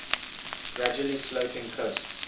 gradually sloping coasts